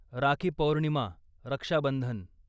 rakhi Purnima, Raksha Bandhan